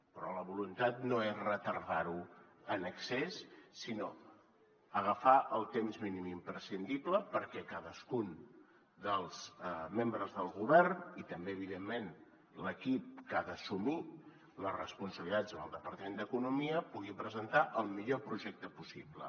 però la voluntat no és retardar ho en excés sinó agafar el temps mínim imprescindible perquè cadascun dels membres del govern i també evidentment l’equip que ha d’assumir les responsabilitats en el departament d’economia puguin presentar el millor projecte possible